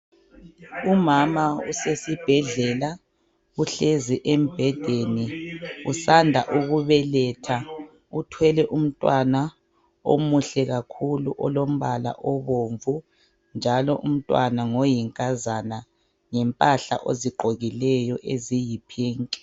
Umama usesibhedlela uhlezi embhedeni usanda ukubeletha uthwele umntwana omuhle kakhulu olombala obomvu njalo umntwana ngoyinkazana yimpahla ozigqokileyo eziyiphinki.